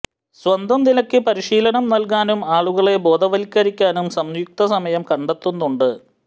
സ്വന്തം നിലയ്ക്ക് പരിശീലനം നല്കാനും ആളുകളെ ബോധവല്ക്കരിക്കാനും സംയുക്ത സമയം കണ്ടെത്തുന്നുണ്ട്